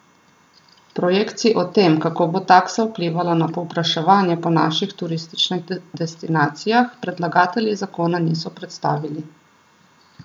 Projekcij o tem, kako bo taksa vplivala na povpraševanje po naših turističnih destinacijah, predlagatelji zakona niso predstavili.